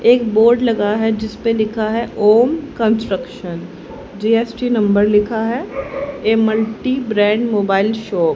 एक बोर्ड लगा है जिसपे लिखा है ओम कंस्ट्रक्श जी_एस_टी नंबर लिखा है ये मल्टी ब्रांड मोबाइल शॉप --